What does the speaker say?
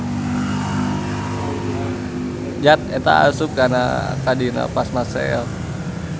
Zat eta asup ka dina plasma sel.